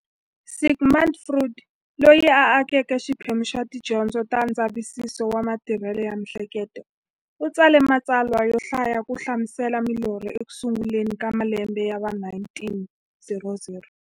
Sigmund Freud, loyi a akeke xiphemu xa tidyondzo ta ndzavisiso wa matirhele ya mi'hleketo, u tsale matsalwa yo hlaya ku hlamusela milorho eku sunguleni ka malembe ya va 1900.